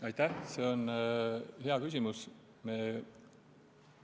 Aitäh, see on hea küsimus!